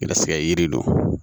Garisigɛ yiri don